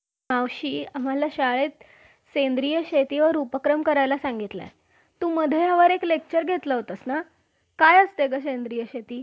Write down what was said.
Chatting video chatting आजकाल आपण video call हि करू शकतो ज्याचं मध्ये आपल्याला समोरच्याचा चेहरा सुद्धा दिसतो. आणि